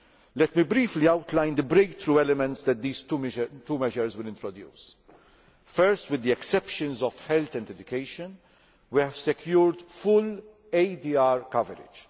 Let me briefly outline the breakthrough elements that these two measures will introduce. First, with the exceptions of health and education, we have secured full ADR coverage.